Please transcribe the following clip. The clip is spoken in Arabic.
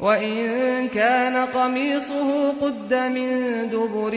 وَإِن كَانَ قَمِيصُهُ قُدَّ مِن دُبُرٍ